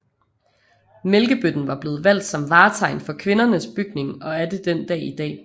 Mælkebøtten var blevet valgt som vartegn for Kvindernes Bygning og er det den dag i dag